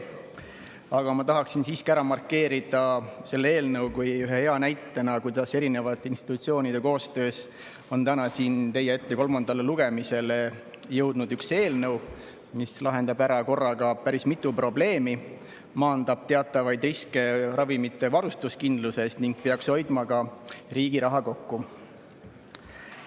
Aga ma tahaksin siiski ära markeerida selle eelnõu kui ühe hea näite, kuidas mitme institutsiooni koostöös on täna siia teie ette kolmandale lugemisele jõudnud üks eelnõu, mis lahendab korraga ära päris mitu probleemi, maandab teatavaid riske ravimivarustuskindluses ning peaks hoidma ka riigi raha kokku.